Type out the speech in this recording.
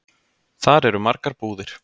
Þar eru margar búðir.